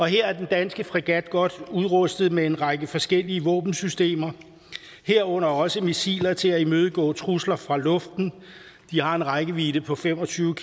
her er den danske fregat godt udrustet med en række forskellige våbensystemer herunder også missiler til at imødegå trusler fra luften de har en rækkevidde på fem og tyve